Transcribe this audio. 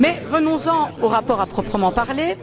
Venons en au rapport à proprement parler.